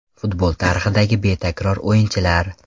Futbol tarixidagi betakror o‘yinchilar.